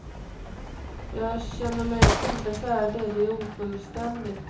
Jag känner mig inte färdig, det är ofullständigt.